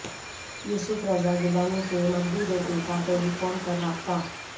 یوسف رضا گیلانی کے مغوی بیٹے کا ٹیلی فون پر رابطہ